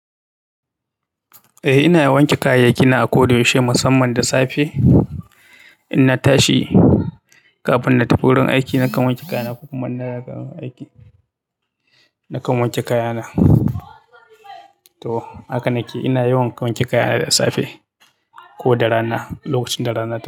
Eh ina wanke kayayyaki na a koda yaushe musamman da safe. In na tashi kafin na tafi wurin aiki nakan wanke kaya na ko kuma in na gama aiki nakan wanke kaya na to haka nake ina yawan wanke kaya na da safe ko da rana, lokacin da rana ta fito.